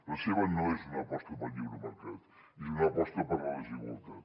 la seva no és una aposta pel lliure mercat és una aposta per la desigualtat